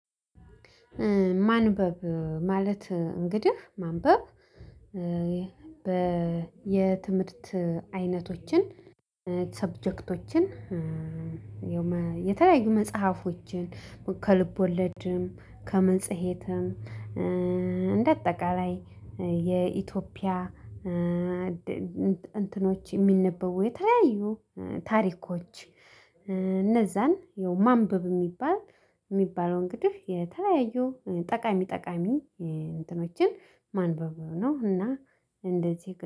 ማንበብ ማለት እንግዲህ ማንበብ በየትምህርት አይነቶችን ሰብጀክቶችን የተለያዩ መጽሐፎችን ከልብ ወለድም ከመጽሔትም እንደ አጠቃላይ የኢትዮጵያ እንትኖች የሚነበብ የተለያዩ ታሪኮች እነዛን ማንበብ የሚባል የሚባለው እንግዲህ የተለያዩ ጠቃሚ ጠቃሚ እንትኖችን ማንበብ ነው እና እንደዚህ